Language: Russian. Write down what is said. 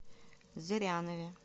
зырянове